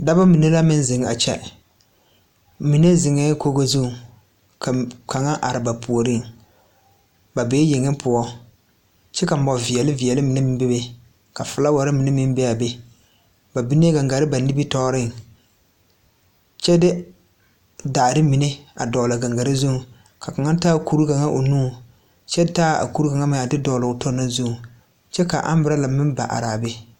Dɔbɔ mine la meŋ zeŋ a kyɛ mine zeŋɛɛ kogi zuŋ ka kaŋa are ba puoriŋ ba bee yeŋe poɔ kyɛ ka mɔ veɛle veɛle mine meŋ be be ka flaawarre mine meŋ be aa be ba binee gangarre ba nimitooreŋ kyɛ de daare mine a dɔgle a gangarre zuŋ ka kaŋa taa kure kaŋa o nuŋ kyɛ taa a kure kaŋa meŋ a de dɔgle o tɔ na zuŋ kyɛ ka ambrala meŋ ba araa be.